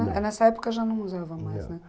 é, Nessa época já não usava mais, né? Não, não.